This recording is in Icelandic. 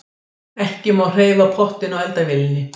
Ekki má hreyfa pottinn á eldavélinni.